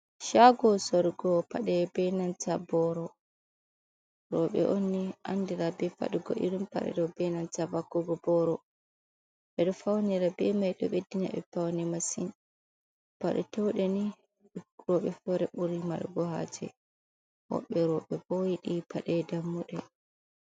chago sorgo paɗe ɓe nanta boro, roɓe onni andira be fadugo irin paɗe ɗo be nanta vakkugo boro, ɓeɗo faunira be mai ɗo ɓeddina ɓe paune masin paɗe touɗe ni roɓe fere buri margo haje woɓɓe roɓe bo yiɗi paɗe dammuɗe.